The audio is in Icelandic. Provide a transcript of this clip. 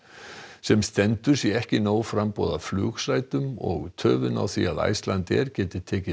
sem stendur sé ekki nóg framboð af flugsætum og töfin á því að Icelandair geti tekið